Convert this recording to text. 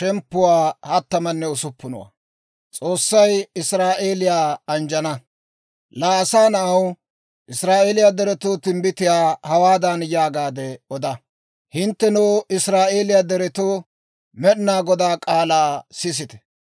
«Laa asaa na'aw, Israa'eeliyaa deretoo timbbitiyaa hawaadan yaagaade oda; ‹Hinttenoo, Israa'eeliyaa deretoo, Med'inaa Godaa k'aalaa sisite!